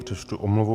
Přečtu omluvu.